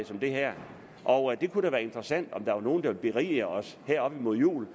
som det her og det kunne være interessant om der var nogen der ville berige os her op mod jul